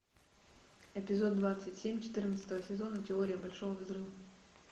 эпизод двадцать семь четырнадцатого сезона теория большого взрыва